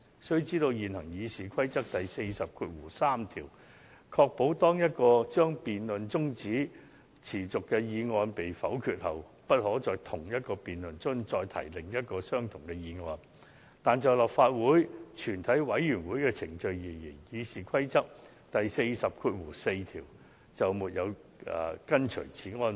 須知道，現行《議事規則》第403條確保當一項將辯論中止待續的議案被否決後，不可在同一項辯論中再次提出另一項相同議案，但就立法會全體委員會的程序而言，《議事規則》第404條未有訂明是項安排。